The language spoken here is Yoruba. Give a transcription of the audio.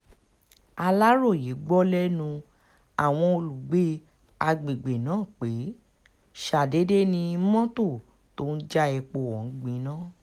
aláròye gbọ́ lẹ́nu àwọn olùgbé àgbègbè náà pé ṣàdédé ni mọ́tò tó ń já epo ọ̀hún gbiná